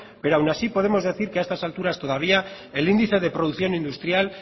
pero aun así podemos decir que a estas alturas todavía el índice de producción industrial